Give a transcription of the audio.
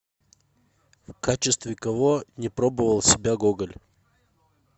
в качестве кого не пробовал себя гоголь